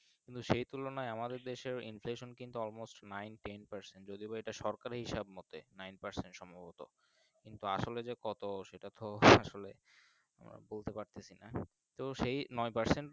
সেই তুলনায় আমাদের দেশে Interest কিন্তু All most কিন্তু Nine ten percent যদি বা এটা সরকারি হিসাব এর মর্ধে Nine percent সম্ভবত কিন্তু আসলে যে কত সেটা ও আসলে আহ বলতে পারতেছিনা তো সেই নয় parcent